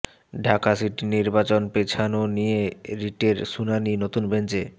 Dhaka city নির্বাচন পেছানো নিয়ে রিটের শুনানি নতুন বেঞ্চে